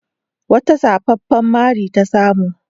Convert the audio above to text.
Wata zafafan mari ta samu.